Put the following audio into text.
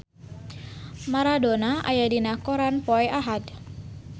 Maradona aya dina koran poe Ahad